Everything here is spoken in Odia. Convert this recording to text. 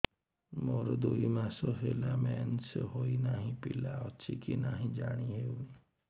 ମୋର ଦୁଇ ମାସ ହେଲା ମେନ୍ସେସ ହୋଇ ନାହିଁ ପିଲା ଅଛି କି ନାହିଁ ଜାଣି ହେଉନି